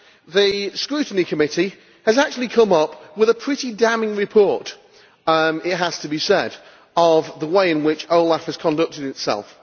The Scrutiny Committee has actually come up with a pretty damning report, it has to be said, of the way in which OLAF has conducted itself.